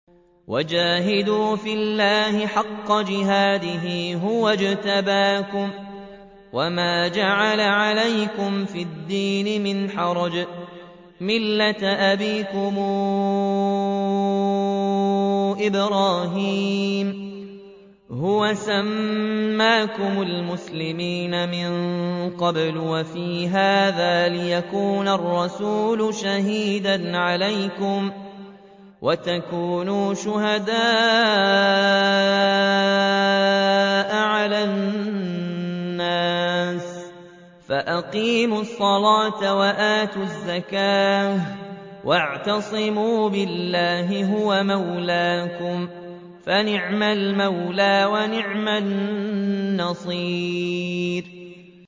وَجَاهِدُوا فِي اللَّهِ حَقَّ جِهَادِهِ ۚ هُوَ اجْتَبَاكُمْ وَمَا جَعَلَ عَلَيْكُمْ فِي الدِّينِ مِنْ حَرَجٍ ۚ مِّلَّةَ أَبِيكُمْ إِبْرَاهِيمَ ۚ هُوَ سَمَّاكُمُ الْمُسْلِمِينَ مِن قَبْلُ وَفِي هَٰذَا لِيَكُونَ الرَّسُولُ شَهِيدًا عَلَيْكُمْ وَتَكُونُوا شُهَدَاءَ عَلَى النَّاسِ ۚ فَأَقِيمُوا الصَّلَاةَ وَآتُوا الزَّكَاةَ وَاعْتَصِمُوا بِاللَّهِ هُوَ مَوْلَاكُمْ ۖ فَنِعْمَ الْمَوْلَىٰ وَنِعْمَ النَّصِيرُ